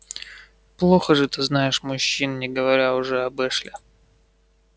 плохо же ты знаешь мужчин не говоря уже об эшли